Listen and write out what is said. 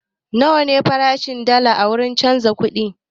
Nawa ne farashin dalla a wurin canza kuɗi?